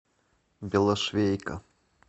белошвейка